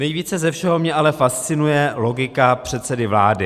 Nejvíce ze všeho mě ale fascinuje logika předsedy vlády.